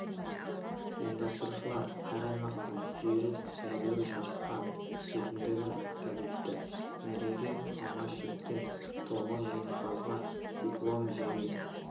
ұйымдастырушылар әр аймақтан жүйрік сәйгүлік жарысқа түсетіндігін атап өтті мәреге алғашқы жеткен тоғыз жеңімпазға диплом және